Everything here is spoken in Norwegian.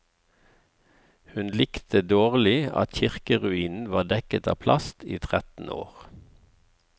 Hun likte dårlig at kirkeruinen var dekket av plast i tretten år.